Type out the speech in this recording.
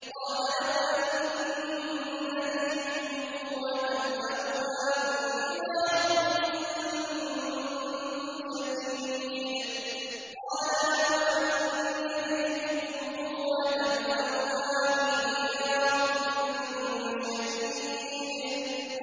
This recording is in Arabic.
قَالَ لَوْ أَنَّ لِي بِكُمْ قُوَّةً أَوْ آوِي إِلَىٰ رُكْنٍ شَدِيدٍ